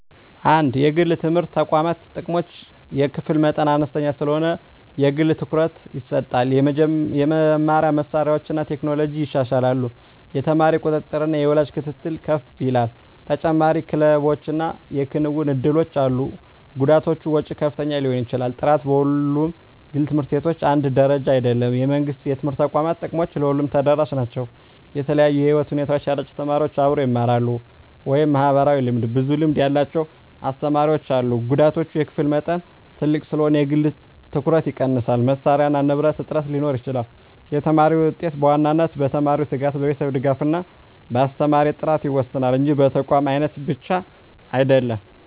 1) የግል የትምህርት ተቋማት ጥቅሞች የክፍል መጠን አነስተኛ ስለሆነ የግል ትኩረት ይሰጣል የመማሪያ መሳሪያዎችና ቴክኖሎጂ ይሻላሉ የተማሪ ቁጥጥርና የወላጅ ክትትል ከፍ ይላል ተጨማሪ ክለቦችና የክንውን እድሎች አሉ ጉዳቶች ወጪ ከፍተኛ ሊሆን ይችላል ጥራት በሁሉም ግል ት/ቤቶች አንድ ደረጃ አይደለም የመንግሥት የትምህርት ተቋማት ጥቅሞች ለሁሉም ተደራሽ ናቸው የተለያዩ የህይወት ሁኔታ ያላቸው ተማሪዎች አብረው ይማራሉ (ማህበራዊ ልምድ) ብዙ ልምድ ያላቸው አስተማሪዎች አሉ ጉዳቶች የክፍል መጠን ትልቅ ስለሆነ የግል ትኩረት ይቀንሳል መሳሪያና ንብረት እጥረት ሊኖር ይችላል የተማሪ ውጤት በዋናነት በተማሪው ትጋት፣ በቤተሰብ ድጋፍ እና በአስተማሪ ጥራት ይወሰናል እንጂ በተቋም አይነት ብቻ አይደለም።